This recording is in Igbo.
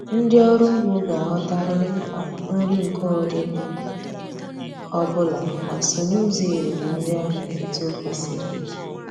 Ndị ọrụ ugbo ga-aghọtarịrị mkpa nri nke ụdị ọ bụla ma sonye ụzọ erim nri ahụ etu o kwesiri.